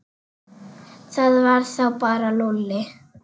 Það var þá bara Lúlli.